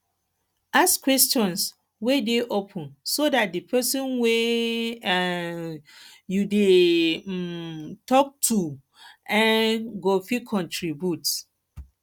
ask questions wey dey open so dat di person wey um you dey um talk to um go fit contribute